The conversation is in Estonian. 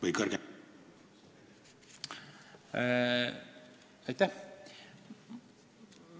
Aitäh!